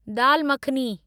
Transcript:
दाल मखनी